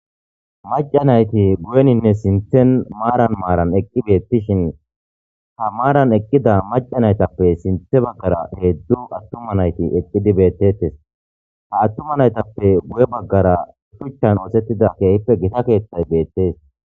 Mac'a nayti guyenine sinten maran maran eqi betishin ha maran eqida mac'a naytape sinta bagara hezdu atuma nayti eqidi betetes ha atuma naytape guye bagara shuchan osetida kehipe gita kethay betes.